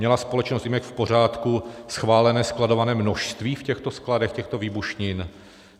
Měla společnost Imex v pořádku schválené skladované množství v těchto skladech těchto výbušnin?